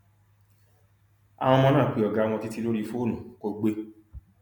àwọn ọmọ náà pé ọgá wọn títí lórí fóònù kó gbé e